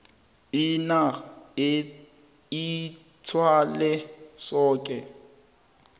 inac ithwale soke